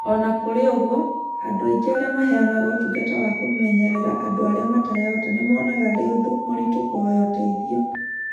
O na kũrĩ ũguo, andũ aingĩ arĩa maheanaga ũtungata wa kũmenyerera andũ arĩa matarehota nĩ monaga arĩ ũndũ mũritũ kũhoya ũteithio.